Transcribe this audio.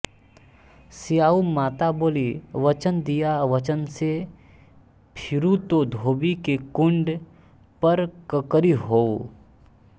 स्याऊ माता बोली वचन दिया वचन से फिरूँ तो धोबी के कुंड पर कंकरी होऊँ